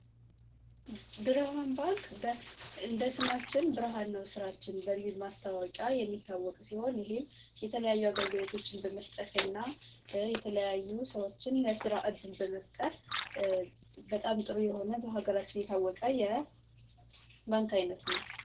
ብርሃን ባንክ እንደስማችን ብርሃ ነው ሥራችን በሚል ማስታወቂያ የሚታወቅ ሲሆን ይህም የተለያዩ አገርግሎቶችን በመፍጠት እና የተለያዩ ሰዎችን ለስራ ዕድል በመፍጠር በጣም ጥሩ የሆነ በሀገራችን የታወቀ የ ባንክ ዓይነት ነው።